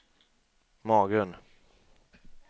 magen